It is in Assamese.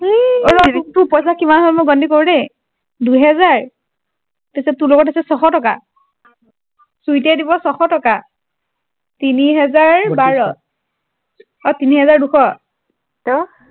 অ ৰ তোৰ পইছা কিমান হল মই গন্তি কৰো দেই দুহেজাৰ তাত পিছত তোৰ লগত আছে ছশ টকা চুইটিয়ে দিব ছশ টকা তিনি হেজাৰ বাৰ অ তিনি হেজাৰ দুশ অ